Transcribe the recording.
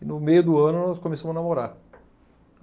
E no meio do ano, nós começamos a namorar.